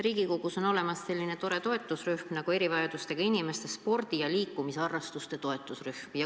Riigikogus on olemas selline tore toetusrühm nagu erivajadustega inimeste spordi ja liikumisharrastuse toetusrühm.